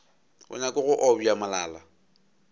a nyake go obja molala